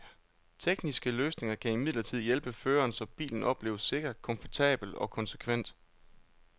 Tekniske løsninger kan imidlertid hjælpe føreren, så bilen opleves sikker, komfortabel og konsekvent.